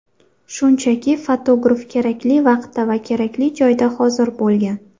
Shunchaki, fotograf kerakli vaqtda va kerakli joyda hozir bo‘lgan.